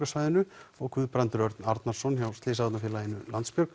og Guðbrandur Örn Arnarson hjá slysavarnarfélaginu